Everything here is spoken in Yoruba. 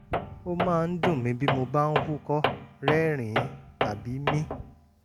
ó máa ń dun mí bí mo bá ń húkọ́ rẹ́rìn-ín tàbí mí